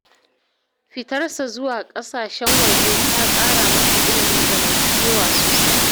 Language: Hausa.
Fitarsa zuwa ƙasashen waje ta ƙara masa ilimin zamantakewa sosai.